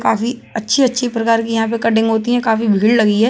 काफ़ी अच्छी-अच्छी प्रकार की यहां पे कटिंग होती है। काफ़ी भीड़ लगी है।